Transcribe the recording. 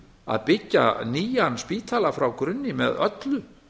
að byggja nýjan spítala frá grunni með öllu